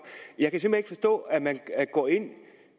jeg kan simpelt hen ikke forstå at man går ind